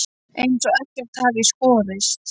Eins og ekkert hafi í skorist.